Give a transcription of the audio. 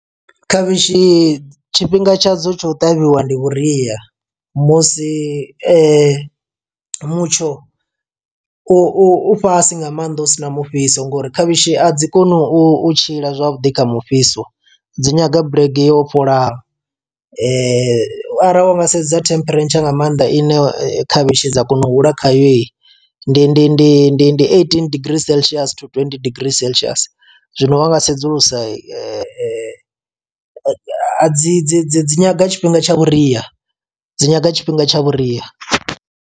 Khavhishi tshifhinga tshadzo tsho u ṱavhiwa ndi vhuria musi mutsho u u u fhasi nga maanḓa u sina mufhiso ngori khavhishi a dzi koni u u tshila zwavhuḓi kha mufhiso dzi nyaga bulege wo fholaho, ara wa nga sedza temperature nga maanḓa ine khavhishi dza kona u hula khayo ndi ndi ndi ndi ndi eighteen degree celcious to twenty degree celcious, zwino wa nga sedzulusa a dzi dzi dzi dzi nyaga tshifhinga tsha vhuria dzi nyaga tshifhinga tsha vhuria.